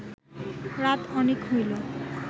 রাত অনেক হইল